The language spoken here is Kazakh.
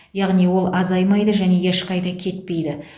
яғни ол азаймайды және ешқайда кетпейді